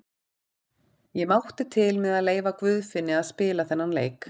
Ég mátti til með að leyfa Guðfinni að spila þennan leik.